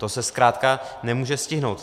To se zkrátka nemůže stihnout.